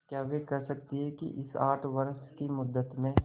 क्या वे कह सकती हैं कि इस आठ वर्ष की मुद्दत में